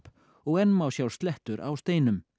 og enn má sjá slettur á steinum